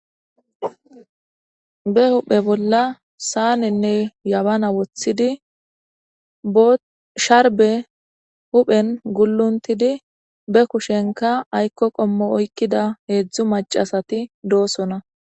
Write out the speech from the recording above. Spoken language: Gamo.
be huhphe bolla saanenne yabana wothidi sharbe huphen gulluntidi be kushenka aykko qommo oykkida heedzdzu macasati doosona